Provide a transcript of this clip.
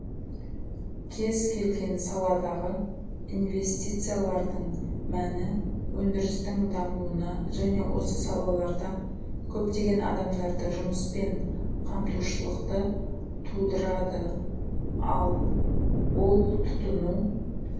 кез келген саладағы инвестициялардың мәні өндірістің дамуына және осы салаларда көптеген адамдарды жұмыспен қамтушылықты тұдырады ал ол тұтыну